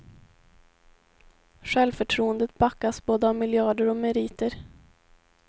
Självförtroendet backas både av miljarder och meriter.